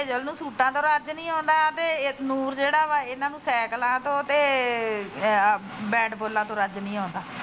Hazel ਨੂੰ ਸੂਟਾ ਦਾ ਰੱਜ ਨੀ ਆਉਂਦਾ ਤੇ ਨੂਰ ਜਿਹੜਾ ਸੈਕਲਾ ਤੇ ਬੈਟ ਬੋਲਾਂ ਤੋ ਰੱਜ ਨੀ ਆਉਂਦਾ।